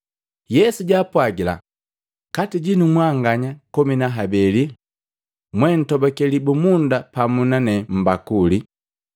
Yesu jaapwagila, “Kati jinu mwanganya komi na habeli mwe, jojutobakee libumunda pamu nane mbakuli.